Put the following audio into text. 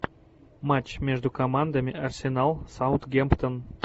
матч между командами арсенал саутгемптон